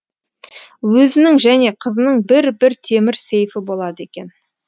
өзінің және қызының бір бір темір сейфі болады екен